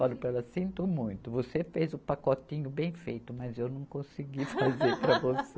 Falei para ela, sinto muito, você fez o pacotinho bem feito, mas eu não consegui fazer para você.